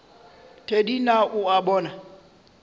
thedi na o a bona